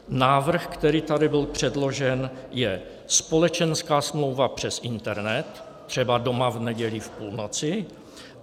Návrh, který tady byl předložen, je společenská smlouva přes internet, třeba doma v neděli v půlnoci.